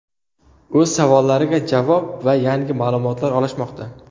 o‘z savollariga javob va yangi ma’lumotlar olishmoqda.